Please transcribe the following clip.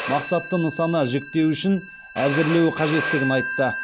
мақсатты нысана жіктеуішін әзірлеуі қажеттігін айтты